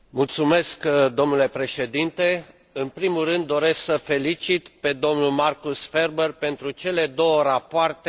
În primul rând doresc să l felicit pe domnul Markus Ferber pentru cele două rapoarte supuse dezbaterii astăzi.